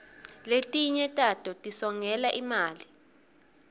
letinye tato tisongela imali